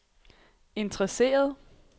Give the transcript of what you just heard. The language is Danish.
interesseret